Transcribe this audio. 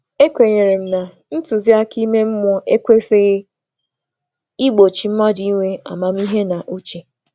E kwè m na nduzi ime mmụọ ekwesịghị igbu ọrụ onye n’onwe ya na echiche ziri um ezi.